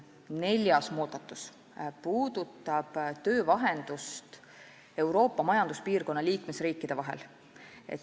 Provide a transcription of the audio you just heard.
Neljas muudatus puudutab töövahendust Euroopa majanduspiirkonna liikmesriikide vahel.